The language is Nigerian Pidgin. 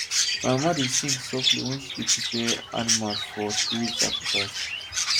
my mama dey sing softly when she dey prepare animal for spirit sacrifice